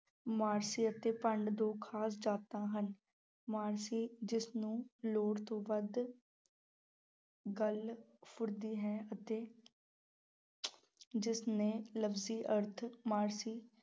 ਮਰਾਸੀ ਅਤੇ ਭੰਡ ਦੋ ਖ਼ਾਸ ਜਾਤਾਂ ਹਨ, ਮਰਾਸੀ ਜਿਸ ਨੂੰ ਲੋੜ ਤੋਂ ਵੱਧ ਗੱਲ ਫੁਰਦੀ ਹੈ ਅਤੇ ਜਿਸਨੇ ਲਫ਼ਜ਼ੀ ਅਰਥ ਮਰਾਸੀ